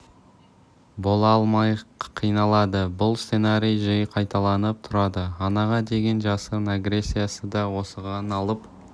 бола алмай қиналады бұл сценарий жиі қайталанып тұрады анаға деген жасырын агрессиясы да осыған алып